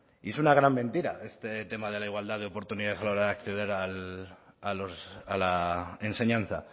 y es una gran mentira este tema de la igualdad de oportunidades a la hora de acceder a la enseñanza